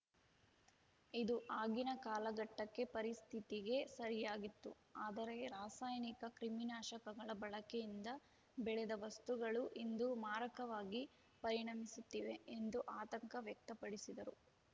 ಇದು ಆಗಿನ ಕಾಲಘಟ್ಟಕ್ಕೆ ಪರಿಸ್ಥಿತಿಗೆ ಸರಿಯಾಗಿತ್ತು ಆದರೆ ರಾಸಾಯನಿಕ ಕ್ರಿಮಿನಾಶಕಗಳ ಬಳಕೆಯಿಂದ ಬೆಳೆದ ವಸ್ತುಗಳು ಇಂದು ಮಾರಕವಾಗಿ ಪರಿಣಮಿಸುತ್ತಿವೆ ಎಂದು ಆತಂಕ ವ್ಯಕ್ತಪಡಿಸಿದರು